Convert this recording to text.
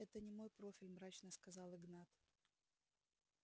это не мой профиль мрачно сказал игнат